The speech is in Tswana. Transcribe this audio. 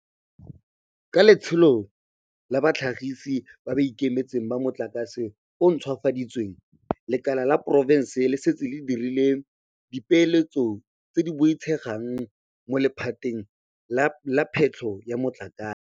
Ka Letsholo la Batlhagisi ba ba Ikemetseng ba Motlakase o o Ntšhwafaditsweng, lekala la poraefete le setse le dirile dipeeletso tse di boitshegang mo lephateng la phetlho ya motlakase.